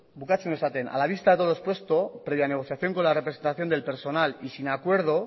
bukatzen du esaten a la vista de todo lo expuesto previa negociación con la representación del personal y sin acuerdo